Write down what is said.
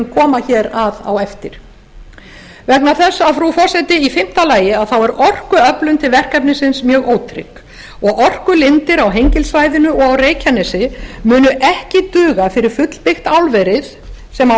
koma hér að á eftir vegna þess frú forseti að í fimmta lagi þá er orkuöflun til verkefnisins mjög ótrygg og orkulindir á hengilssvæðinu og á reykjanesi munu ekki duga fyrir fullbyggt álverið sem á að